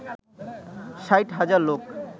৬০ হাজার লোক